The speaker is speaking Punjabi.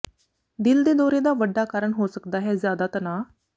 ਦਿਲ ਦੇ ਦੌਰੇ ਦਾ ਵੱਡਾ ਕਾਰਨ ਹੋ ਸਕਦਾ ਹੈ ਜ਼ਿਆਦਾ ਤਨਾਅ